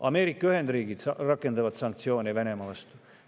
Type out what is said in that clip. Ameerika Ühendriigid rakendavad sanktsioone Venemaa vastu.